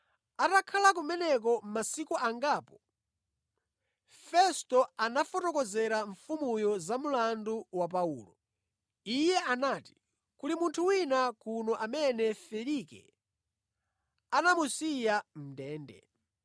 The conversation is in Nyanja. Atakhala kumeneko masiku angapo, Festo anafotokozera mfumuyo za mlandu wa Paulo. Iye anati, “Kuli munthu wina kuno amene Felike anamusiya mʼndende.